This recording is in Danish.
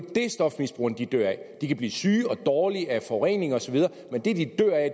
stofmisbrugerne dør af de kan blive syge og dårlige af forurening osv men det de dør af